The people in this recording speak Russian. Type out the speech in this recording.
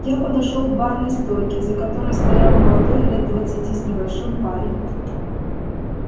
я подошёл к барной стойке за которой стоял молодой лет двадцати с небольшим парень